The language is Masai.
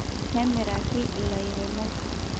nemirraki ilairemok